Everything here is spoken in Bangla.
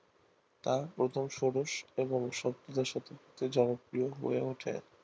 তা প্রথম ষোড়শ এবং সত্তর দশকে জনপ্রিয় হয়ে ওঠে